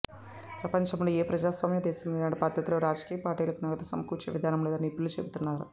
ప్రపంచంలో ఏ ప్రజాస్వామ్య దేశంలో ఇలాంటి పద్ధతిలో రాజకీయ పార్టీలకు నగదు సమకూర్చే విధానం లేదని నిపుణులు చెబుతున్నారు